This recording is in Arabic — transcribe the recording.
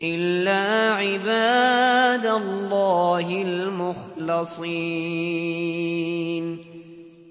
إِلَّا عِبَادَ اللَّهِ الْمُخْلَصِينَ